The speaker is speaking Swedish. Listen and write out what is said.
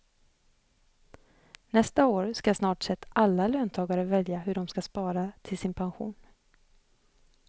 Nästa år ska snart sett alla löntagare välja hur de ska spara till sin pension.